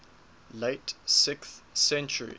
late sixth century